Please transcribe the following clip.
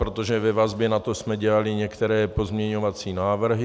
Protože ve vazbě na to jsme dělali některé pozměňovací návrhy.